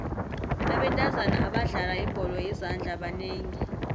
abentazana abadlala ibholo yezandla banengi